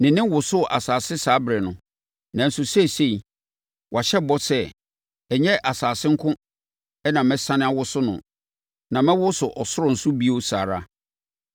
Ne nne wosoo asase saa ɛberɛ no, nanso seesei wahyɛ bɔ sɛ, “Ɛnyɛ asase nko na mɛsane awoso no, na mɛwoso soro nso bio saa ara.”